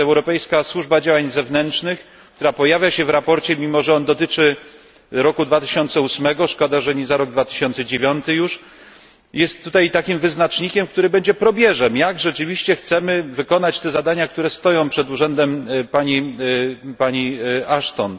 Europejska Służba Działań Zewnętrznych, która pojawia się w sprawozdaniu, mimo że ono dotyczy roku 2008 szkoda, że nie za rok 2009 już jest tutaj takim wyznacznikiem, który będzie probierzem, jak rzeczywiście chcemy wykonać te zadania, które stoją przed urzędem pani Ashton.